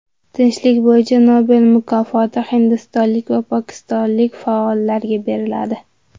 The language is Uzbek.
Tinchlik bo‘yicha Nobel mukofoti hindistonlik va pokistonlik faollarga beriladi.